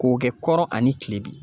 K'o kɛ kɔrɔ ani kile bi.